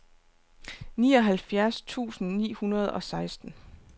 nioghalvfjerds tusind ni hundrede og seksten